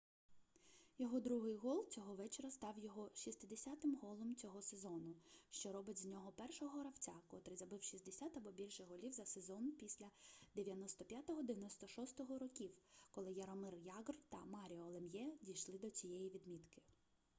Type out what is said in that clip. його другий гол цього вечора став його 60-м голом цього сезону що робить з нього першого гравця котрий забив 60 або більше голів за сезон після 1995-96 років коли яромир ягр та маріо лем'є дійшли до цієї відмітки